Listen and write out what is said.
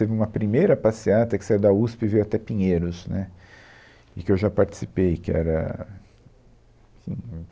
Teve uma primeira passeata, que saiu da USP e veio até Pinheiros, né, e que eu já participei, que era